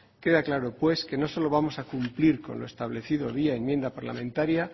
queda claro pues que no solo vamos a cumplir con lo establecido vía enmienda parlamentaria